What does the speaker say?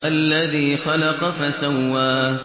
الَّذِي خَلَقَ فَسَوَّىٰ